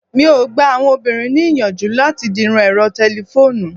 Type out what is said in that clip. mi o gba àwọn obìnrin ni iyanju lati dirun ẹrọ telefonu